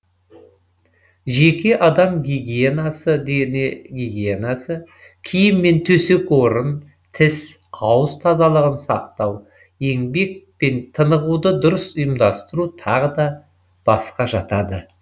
жеке адам гигиенасы дене гигиенасы киім мен төсек орын тіс ауыз тазалығын сақтау еңбек пен тынығуды дұрыс ұйымдастыру тағы басқа жатады